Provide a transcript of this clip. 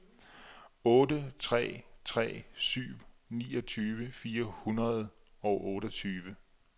otte tre tre syv niogtyve fire hundrede og otteogtyve